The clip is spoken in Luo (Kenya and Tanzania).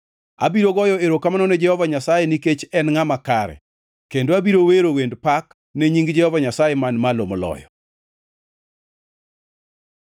Abiro goyo erokamano ne Jehova Nyasaye nikech en ngʼama kare kendo abiro wero wend pak ne nying Jehova Nyasaye Man Malo Moloyo.